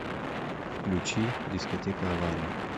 включи дискотека авария